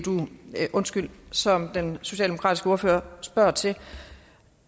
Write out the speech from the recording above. som den socialdemokratiske ordfører spørger til